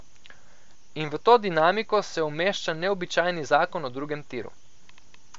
In v to dinamiko se umešča neobičajni zakon o drugem tiru.